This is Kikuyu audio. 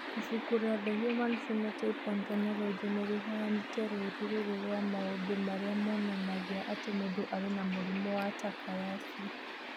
Ibuku rĩa The Human Phenotype Ontology nĩ rĩheanĩte rũũri rũrũ rwa maũndũ marĩa monanagia atĩ mũndũ arĩ na mũrimũ wa Takayasu.